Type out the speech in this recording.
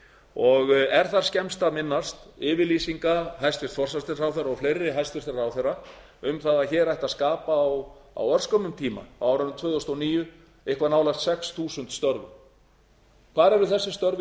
hlut er þar skemmst að minnast yfirlýsinga hæstvirtur forsætisráðherra og fleiri hæstvirtur ráðherra um það að hér ætti að skapa á örskömmum tíma á árinu tvö þúsund og níu eitthvað nálægt sex þúsund störf hvar eru þessi störf